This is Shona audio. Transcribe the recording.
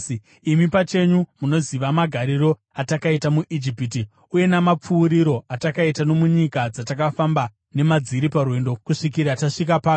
Imi pachenyu munoziva magariro atakaita muIjipiti uye namapfuuriro atakaita nomunyika dzatakafamba nemadziri parwendo kusvikira tasvika pano.